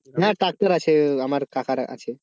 হ্যাঁ tractor আছে আমার কাকার আছে